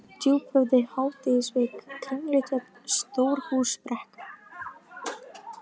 Djúphöfði, Hádegisvik, Kringlutjörn, Stórhúsbrekka